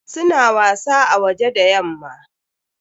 Su na wasa a waje da yamma.